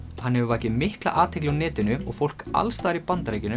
hann hefur vakið mikla athygli á netinu og fólk alls staðar í Bandaríkjunum